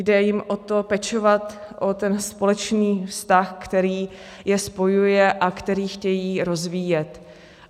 Jde jim o to, pečovat o ten společný vztah, který je spojuje a který chtějí rozvíjet.